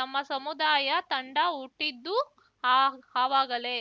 ನಮ್ಮ ಸಮುದಾಯ ತಂಡ ಹುಟ್ಟಿದ್ದೂ ಅ ಅವಾಗಲೇ